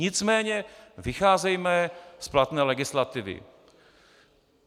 Nicméně vycházejme z platné legislativy.